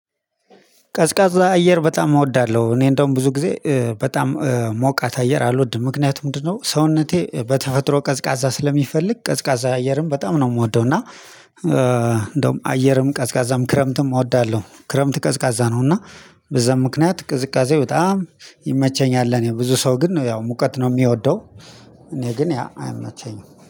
ቀዝቃዛ አየር በጣም እወዳለሁ እኔ እንደውም ብዙ ጊዜ በጣም ሞቃት አየር አልወድም። ምክንያቱም ምንድነው? ሰውነቴ በተፈጥሮ ቀዝቃዛ ስለሚፈልግ ቀዝቃዛ አየርም በጣም ነው የምወደው እና። እንደውም አየርም ቀዝቃዛም ክረምትም እወዳለሁ። ክረምት ቀዝቃዛ ነው እና በዛም ምክንያት ቅዝቃዜ በጣም ይመቸኛል። እኔ ብዙ ሰው ግን ነው ያው ሙቀት ነው የሚወደው። እኔ ግን ያ አይመቸኝም